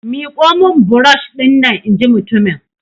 Miƙo min burosh dinnan! in ji mutumin!